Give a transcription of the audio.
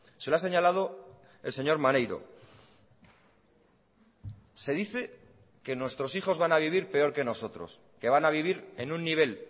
se lo ha señalado el señor maneiro se dice que nuestros hijos van a vivir peor que nosotros que van a vivir en un nivel